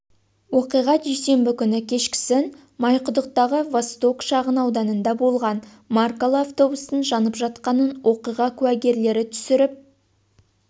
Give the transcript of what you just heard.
оқиға дүйсенбі күні кешкісін майқұдықтағы восток шағын ауданында болған маркалы автобустың жанып жатқанын оқиға куәгерлері түсіріп